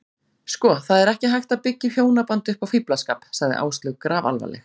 Sko, það er ekki hægt að byggja hjónaband upp á fíflaskap, sagði Áslaug grafalvarleg.